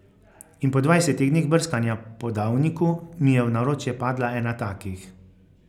In po dvajsetih dneh brskanja po Davniku mi je v naročje padla ena takih.